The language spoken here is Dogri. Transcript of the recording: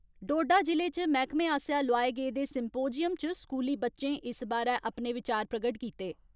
डोडा जिले च मैहकमे आसेया लोआए गेदे सिम्पोज़ियम च स्कूली बच्चें इस बारै अपने विचार प्रगट कीते।